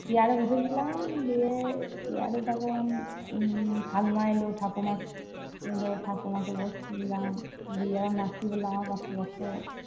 chair এ বসেছিলাম। দিয়ে chair এ তখন উম ঠাকমা এল। ঠাকমা এল। ঠাকুমাকে বসতে দিলাম। দিয়ে আবার মাসি বলল আমার পাশে বসো।